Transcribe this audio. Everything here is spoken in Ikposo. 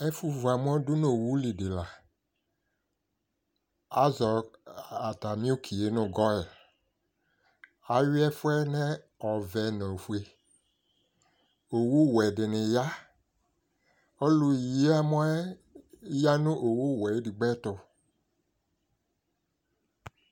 AƐfʋ vu amɔ dʋ n'owu li dɩ la Àzɔ atamɩ uki yɛ nʋ Goil Ayui ɛfʋ yɛ nʋ ɔvɛ nʋ ofue Owu wɛ dɩnɩ ya Ɔlʋ yi amɔ yɛ ya nʋ owu wɛ edigbo yɛ tʋ